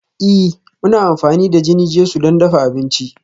Ee, muna amfani da jini-jesu don dafa abinci